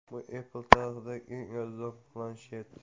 Bu Apple tarixidagi eng arzon planshet.